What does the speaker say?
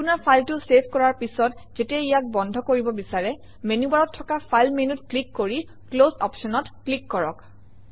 আপোনৰ ফাইলটো চেভ কৰাৰ পিছত যেতিয়া ইয়াক বন্ধ কৰিব বিচাৰে মেনুবাৰত থকা ফাইল মেনুত ক্লিক কৰি ক্লছ অপশ্যনত ক্লিক কৰক